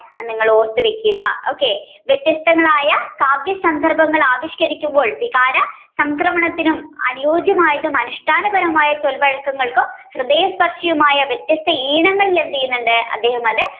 അത് നിങ്ങൾ ഓർത്തുവയ്ക്കുക okay വ്യത്യസ്തങ്ങളായ കാവ്യ സന്ദർഭങ്ങൾ ആവിഷ്കരിക്കുമ്പോൾ വികാര സംക്രമണത്തിനും അനുയോജ്യമായതും അനുഷ്ഠാനപരമായ ചൊൽവഴക്കങ്ങൾക്കും ഹൃദയ സ്പര്ശിയുമായ വ്യത്യസ്ത ഈണങ്ങളിൽ അദ്ദേഹം എന്ത് ചെയുന്നുണ്ട്, അദ്ദേഹം അത്